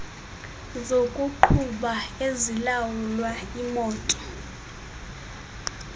zokuqhuba ezilawula imoto